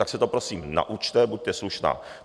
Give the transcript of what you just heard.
Tak se to prosím naučte, buďte slušná.